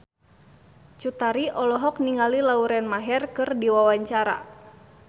Cut Tari olohok ningali Lauren Maher keur diwawancara